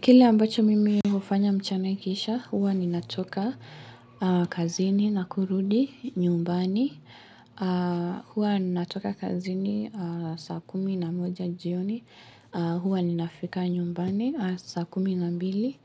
Kile ambacho mimi hufanya mchana iikisha, huwa ninatoka kazini na kurudi nyumbani. Huwa natoka kazini saa kumi na moja jioni. Huwa ninafika nyumbani saa kumi na mbili.